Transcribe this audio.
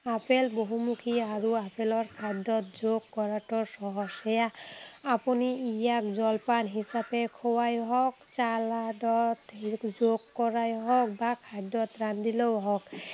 Apple বহুমুখী আৰু আপেলক খাদ্য়ত যোগ কৰাটো সহজ। সেয়া আপুনি ইয়াক জলপান হিচাপে খোৱাই হওক, চালাডত যোগ কৰাই হওক বা খাদ্য়ত ৰান্ধিলেও হওক।